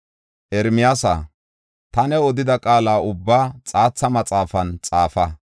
“Ermiyaasa, ta new odida qaala ubbaa xaatha maxaafan xaafa.